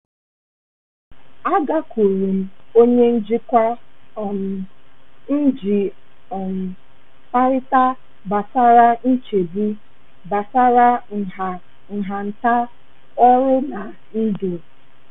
A gakwuuru m onye njikwa um m iji um kparịta gbasara nchegbu gbasara nha nhata ọrụ na ndụ.